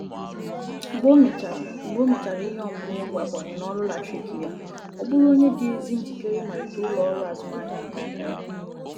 Mgbe o mèchàrà Mgbe o mèchàrà ihe ọmụmụ ịgba bọị n'ọrụ latrik ya,ọ bụụrụ onye dị ezi njikere ịmalite ụlo-ọru azụmahịa nke aka ya.